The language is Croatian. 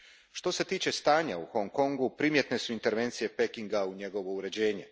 Što se tiče stanja u Hong Kongu primjetne su intervencije Pekinga u njegovo uređenje.